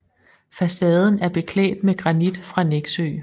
Facaden er beklædt med granit fra Nexø